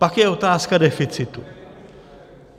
Pak je otázka deficitu.